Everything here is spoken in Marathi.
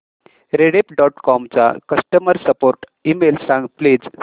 रेडिफ डॉट कॉम चा कस्टमर सपोर्ट ईमेल सांग प्लीज